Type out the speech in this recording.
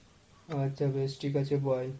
আচ্ছা বেশ ঠিক আছে bye।